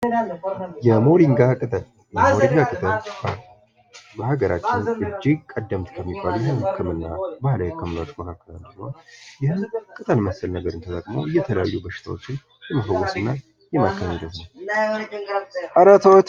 የሞሪንጋ ቅጠል የሞሪንጋ ቅጠል በሀገራችን እጅግ ቀደምት ከሚባሉ ባህላዊ ሕክምናዎች ዉስጥ አንዱ ሲሆን ይህን ቅጠል መሰል ነገር ተጠቅመው የተለያዩ በሽታዎችን ለመፈወስ እና ከማከም ይረዳሉ::